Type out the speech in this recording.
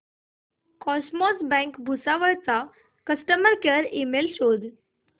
cosmos bank Bhusawal चा customer care email शोध